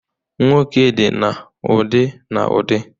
Nwoke dị na ụdị n'ụdị